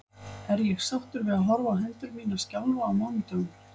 Er ég sáttur við að horfa á hendur mínar skjálfa á mánudögum?